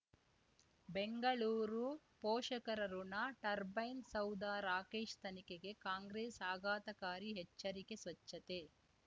ಬೆಂಗಳೂರು ಪೋಷಕರಋಣ ಟರ್ಬೈನ್ ಸೌಧ ರಾಕೇಶ್ ತನಿಖೆಗೆ ಕಾಂಗ್ರೆಸ್ ಆಘಾತಕಾರಿ ಎಚ್ಚರಿಕೆ ಸ್ವಚ್ಛತೆ